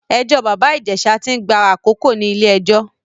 Ẹjọ́ bàbá Ìjẹ̀ṣá tí ń gba àkókò ní ilé-ẹjọ́.